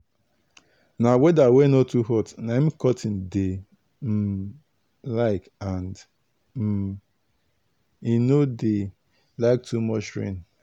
na weather wey no too hot na im cotton dey um like and um e no dey like too much rain